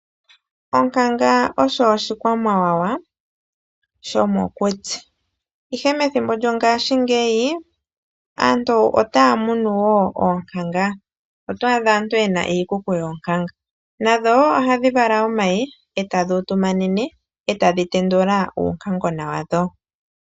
Onkanga osho oshikwamawawa shomokuti, ihe methimbo lyongashingeyi aantu ota ya munu woo oonkanga, oto adha aantu yena iikuku yoonkanga, nadho wo ohadhi vala omayi e tadhi utumanene e tadhi tendula uunkangona wadho.